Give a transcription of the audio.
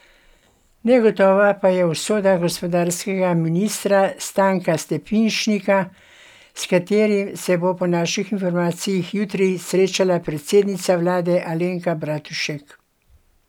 Negotova pa je usoda gospodarskega ministra Stanka Stepišnika, s katerim se bo po naših informacijah jutri srečala predsednica vlade Alenka Bratušek.